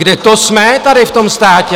Kde to jsme tady v tom státě?